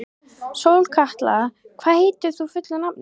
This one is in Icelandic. Sólkatla, hvað heitir þú fullu nafni?